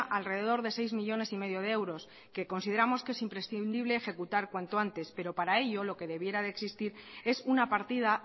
alrededor de seis millónes y medio de euros que consideramos que es imprescindible ejecutar cuanto antes pero para ello lo que debiera de existir es una partida